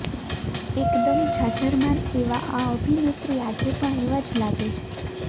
એકદમ જાજરમાન એવા આ અભિનેત્રી આજે પણ એવા જ લાગે છે